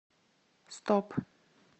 стоп